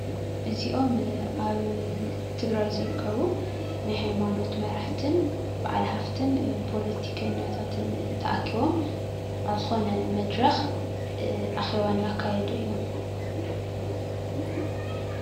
እዚኦም አብ ትግራይ ዝርከቡ ናይ ሃይማኖት መራሕት በዓል ሃፍትን ፖለቲከኛታትን ተአኪቦም አብ ዝኾነ መድረኽ አኼባ እናካየዱ እዮም።